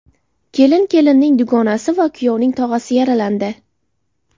Kelin, kelinning dugonasi va kuyovning tog‘asi yaralandi.